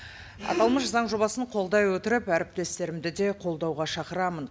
аталмыш заң жобасын қолдай отырып әріптестерімді де қолдауға шақырамын